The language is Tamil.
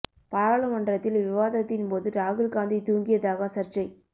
பாராளுமன்றத்தில் விவாதத்தின்போது ராகுல்காந்தி தூங்கியதாக சர்ச்சை